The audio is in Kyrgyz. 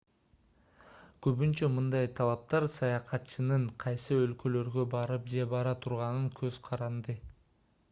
көбүнчө мындай талаптар саякатчынын кайсы өлкөлөргө барып же бара турганынан көз каранды